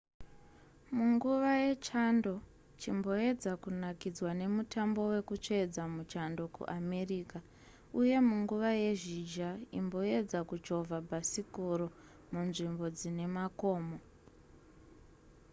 munguva yechando chimboedza kunakidzwa nemutambo wekutsvedza muchando kuamerica uye munguva yezhizha imboendza kuchovha bhasikoro munzvimbo dzine makomo